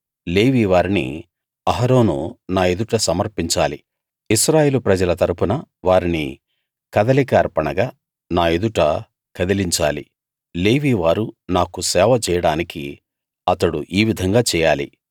లేవీ వారిని అహరోను నా ఎదుట సమర్పించాలి ఇశ్రాయేలు ప్రజల తరపున వారిని కదలిక అర్పణగా నా ఎదుట కదిలించాలి లేవీ వారు నాకు సేవ చేయడానికి అతడు ఈ విధంగా చేయాలి